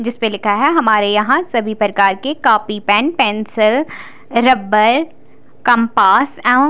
जिस पर लिखा है हमारे यहाँ सभी प्रकार के कोपी पेन पेन्सिल रबड़ कम्पास एवं--